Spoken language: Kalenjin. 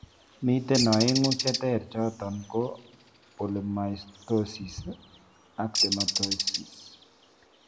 Miten oeng'u cheter choton koo polymytosisi ak dermatomytosis